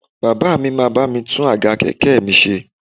Bàbá mi máa bá mi tún àga kẹ̀kẹ́ mi ṣe